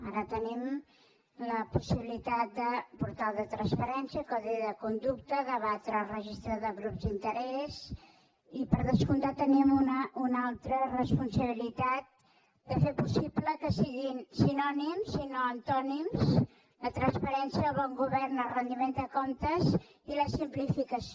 ara tenim la possibilitat de portal de transparència codi de conducta debatre el registre de grups d’interès i per descomptat tenim una altra responsabilitat de fer possible que siguin sinònims i no antònims la transparència el bon govern el retiment de comptes i la simplificació